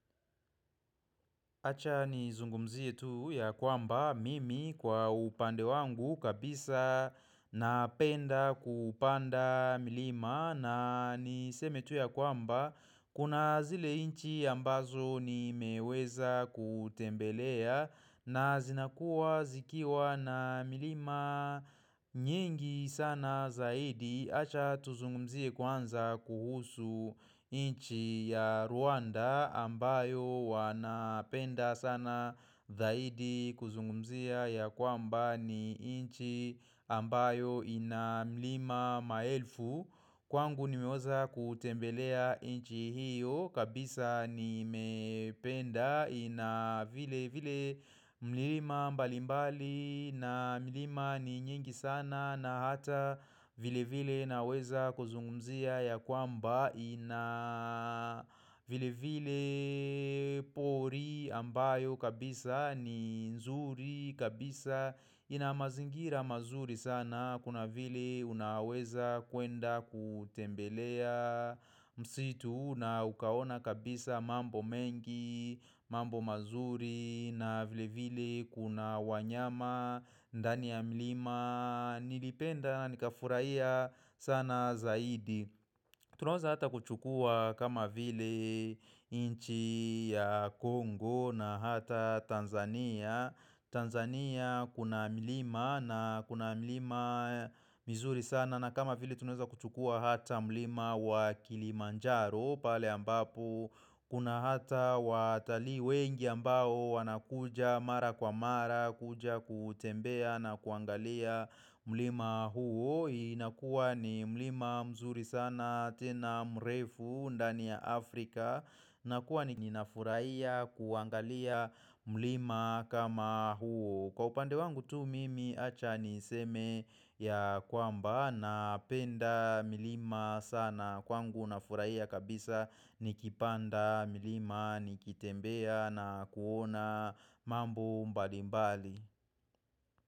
Acha nizungumzie tu ya kwamba mimi kwa upande wangu kabisa napenda kupanda milima na niseme tu ya kwamba kuna zile inchi ambazo nimeweza kutembelea na zinakuwa zikiwa na milima nyingi sana zaidi. Acha tuzungumzie kwanza kuhusu inchi ya Rwanda ambayo wanapenda sana zaidi kuzungumzia ya kwamba ni inchi ambayo ina milima maelfu Kwangu nimeweza kutembelea inchi hiyo kabisa nimependa ina vile vile milima mbalimbali na milima ni nyingi sana na hata vile vile naweza kuzungumzia ya kwamba ina vile vile pori ambayo kabisa ni nzuri kabisa inamazingira mazuri sana Kuna vile unaweza kwenda kutembelea msitu na ukaona kabisa mambo mengi mambo mazuri na vile vile kuna wanyama ndani ya mlima nilipenda nikafurahia sana zaidi Tunawaza hata kuchukua kama vile inchi ya Congo na hata Tanzania Tanzania kuna mlima na kuna mIlima mizuri sana na kama vile tunaweza kuchukua hata mlima wa Kilimanjaro pale ambapo kuna hata watalii wengi ambao wanakuja mara kwa mara kuja kutembea na kuangalia mlima huo inakuwa ni mlima mzuri sana tena mrefu ndani ya Afrika inakuwa ninafuraiya kuangalia mlima kama huo kwa upande wangu tu mimi acha niseme ya kwamba Napenda milima sana kwangu nafuraia kabisa nikipanda milima nikitembea na kuona mambu mbali mbali.